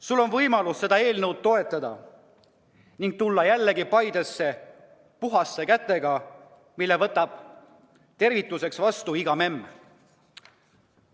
Sul on võimalus seda eelnõu toetada ning tulla jälle Paidesse puhaste kätega, mille võtab tervituseks vastu iga memm.